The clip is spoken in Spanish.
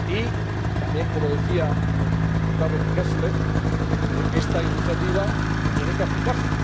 Y también, como decía el diputado Kastler, esta iniciativa tiene que aplicarse.